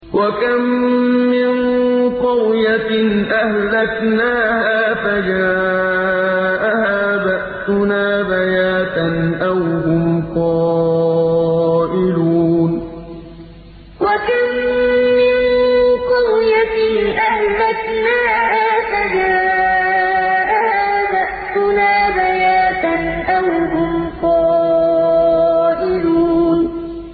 وَكَم مِّن قَرْيَةٍ أَهْلَكْنَاهَا فَجَاءَهَا بَأْسُنَا بَيَاتًا أَوْ هُمْ قَائِلُونَ وَكَم مِّن قَرْيَةٍ أَهْلَكْنَاهَا فَجَاءَهَا بَأْسُنَا بَيَاتًا أَوْ هُمْ قَائِلُونَ